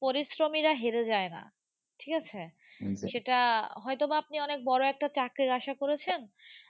পরিশ্রমীরা হেরে যায় না। ঠিক আছে সেটা হয়ত বা আপনি বড়ো একটা চাকরির আশা করেছেন